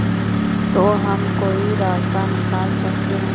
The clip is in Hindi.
तो हम कोई रास्ता निकाल सकते है